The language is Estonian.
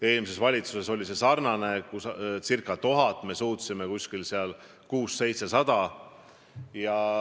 Eelmises valitsuses oli eesmärk ca 1000 ametikohta, me suutsime neid välja viia 600–700.